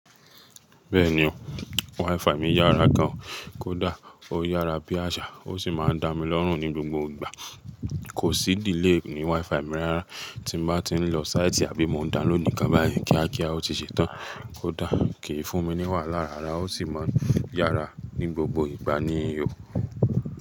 Bẹ́ẹ̀ni o, WiFi mi yára gan. Kódà ó yára bí àṣà, ó sì máa ń dá mi lọ́rùn ní gbogbo ìgbà. Kò sí delay ní WiFi mi rárá. Tí mo bá ti ń lọ sáìtì àbí mo ń download nǹkan báyìí kíákíá, ó ti ṣetán. Kódà kì í fún mi ní wàhálà rárá, ó sì máa ń yára ní gbogbo ìgbà ni yó.